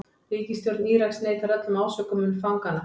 Ríkisstjórn Íraks neitar öllum ásökunum fanganna